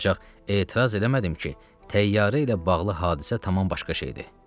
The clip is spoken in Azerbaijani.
Ancaq etiraz eləmədim ki, təyyarə ilə bağlı hadisə tamam başqa şeydir.